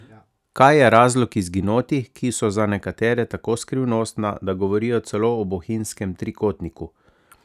Kaj je razlog izginotij, ki so za nekatere tako skrivnostna, da govorijo celo o bohinjskem trikotniku?